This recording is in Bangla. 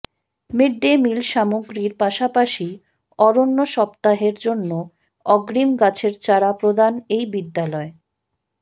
মিড ডে মিল সামগ্রির পাশাপাশি অরণ্য সপ্তাহের জন্য অগ্রিম গাছের চারা প্রদান এই বিদ্যালয়ে